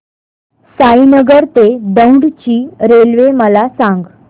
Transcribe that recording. साईनगर ते दौंड ची रेल्वे मला सांग